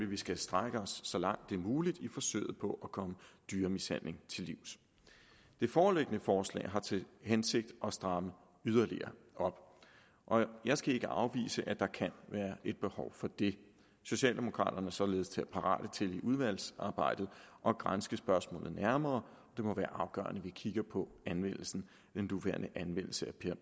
vi skal strække os så langt det er muligt i forsøget på at komme dyremishandling til livs det foreliggende forslag har til hensigt at stramme yderligere op og jeg skal ikke afvise at der kan være et behov for det socialdemokraterne er således parate til i udvalgsarbejdet at granske spørgsmålet nærmere det må være afgørende at vi kigger på den nuværende anvendelse